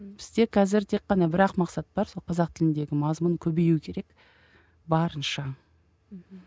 бізде қазір тек қана бір ақ мақсат бар сол қазақ тіліндегі мазмұн көбеюі керек барынша мхм